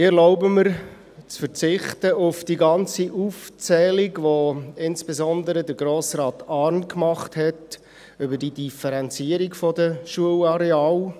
Ich erlaube mir, auf die ganze Aufzählung über die Differenzierung der Schulareale zu verzichten, die insbesondere Grossrat Arn gemacht hat.